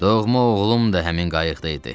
Doğma oğlum da həmin qayıqda idi.